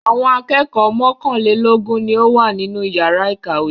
Àwọn akẹ́kọ̀ọ́ mọ́kànlélógún ni ó wà nínú ìyàrá-ìkàwé.